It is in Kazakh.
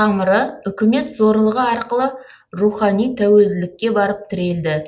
тамыры үкімет зорлығы арқылы рухани тәуелділікке барып тірелді